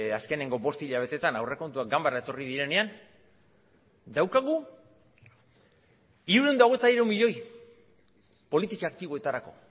azkeneko bost hilabeteetan aurrekontuak ganbara etorri direnean daukagu hirurehun eta hogeita hiru milioi politika aktiboetarako